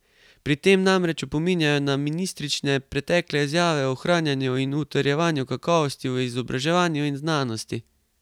Pri tem namreč opominjajo na ministričine pretekle izjave o ohranjanju in utrjevanju kakovosti v izobraževanju in znanosti.